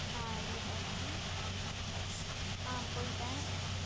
ஆஹ் இரு போறேன் ஆஹ் போயிட்டேன்